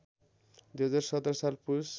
२०१७ साल पुस